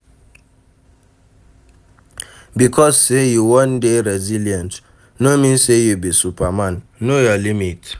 Because sey you wan dey resillient no mean sey you be superman, know your limit